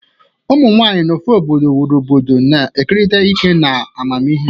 Ụmụ nwanyị n'ofe obodo wuru obodo, na-ekerịta ike na amamihe.